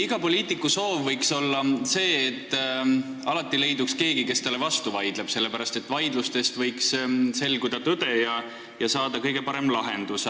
Iga poliitiku soov võiks olla see, et alati leiduks keegi, kes talle vastu vaidleb, sest vaidlustest võiks selguda tõde ja nii võiks saada kõige parema lahenduse.